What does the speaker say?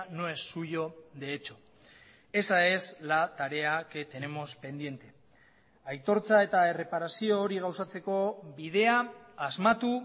no es suyo de hecho esa es la tarea que tenemos pendiente aitortza eta erreparazio hori gauzatzeko bidea asmatu